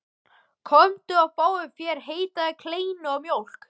Komdu og fáðu þér heita kleinu og mjólk.